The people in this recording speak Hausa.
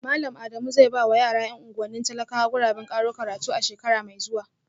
Malam Adamu zai ba wa yara ‘yan unguwannin talakawa guraben karo karatu a shekara mai zuwa